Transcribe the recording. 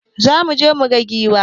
Za muje mu gan giwa.